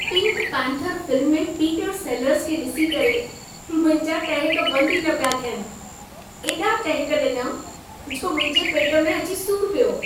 Pink panther film में Peter Sellers खे ॾिसी करे मुंहिंजा टहिक बंद ई न पिया थियनि। एॾा टहिक ॾिनमि जो मुंहिंजे पेट में अची सूर पियो।